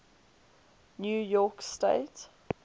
new york state